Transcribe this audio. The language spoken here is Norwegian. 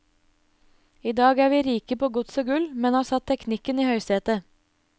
I dag er vi rike på gods og gull, men har satt teknikken i høysete.